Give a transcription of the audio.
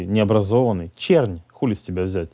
необразованный чернь хули с тебя взять